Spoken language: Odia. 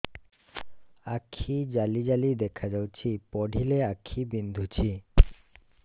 ଆଖି ଜାଲି ଜାଲି ଦେଖାଯାଉଛି ପଢିଲେ ଆଖି ବିନ୍ଧୁଛି